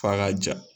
F'a ka ja